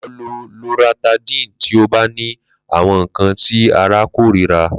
Lo lo loratadine ti o ba ni awọn nkan ti ara korira.